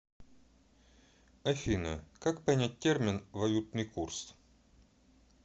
афина как понять термин валютный курс